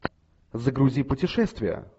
загрузи путешествие